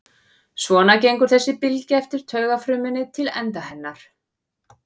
Svona gengur þessi bylgja eftir taugafrumunni til enda hennar.